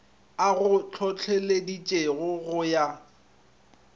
a go hlohleleditšego go ya